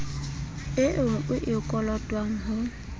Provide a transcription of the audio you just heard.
eo o e kolotwang ho